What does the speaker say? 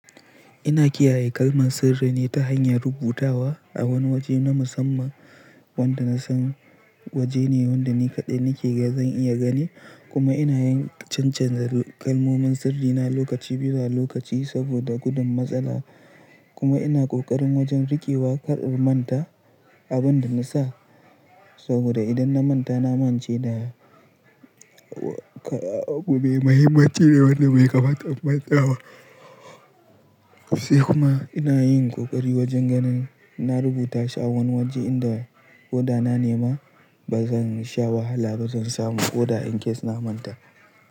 Ina kiyaye kalman sirri ne ta hanyar rubutawa a wani waje na musamman wanda na san waje ne wanda ni kaɗai nake ga zan iya gani kuma ina yin cancanza kalmomin sirri na lokaci bisa lokaci saboda gudun matsala. Kuma ina ƙoƙarin wajen rikewa kar in manta abin da na sa saboda idan na manta na mance da abu mai mahimmanci da wanda bai kamata in manta ba. Sai kuma ina yin ƙoƙari wajen ganin na rubuta shi a wani waje inda koda na nema ba zan sha wahala ba zan samu oda in case na manta.